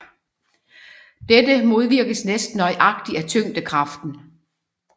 Dette modvirkes næsten nøjagtigt af tyngdekraften